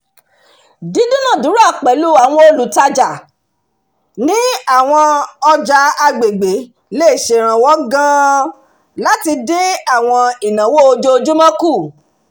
dídúnàádúrà pẹ̀lú àwọn olùtajà ní àwọn ọjà àgbègbè le ṣèrànwọ́ gan-an láti dín àwọn ìnáwó ojoojúmọ́ kù